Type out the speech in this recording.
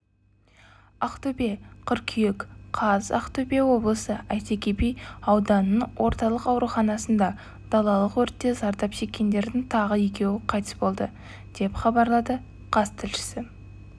ақтөбе қыркүйек қаз ақтөбе облысы әйтеке би ауданыныңорталық ауруанасында далалық өртте зардап шеккендердің тағы екеуі қайтыс болды деп хабарлады қаз тілшісі